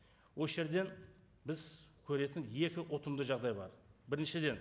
осы жерден біз көретін екі ұтымды жағдай бар біріншіден